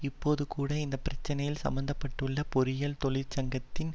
இப்போது கூட இந்த பிரச்சனையில் சம்மந்தப்பட்டுள்ள பொறியியல் தொழிற்சங்கத்தின்